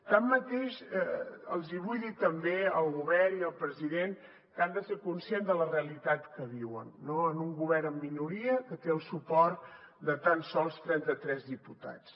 tanmateix els hi vull dir també al govern i al president que han de ser conscients de la realitat que viuen en un govern en minoria que té el suport de tan sols trenta tres diputats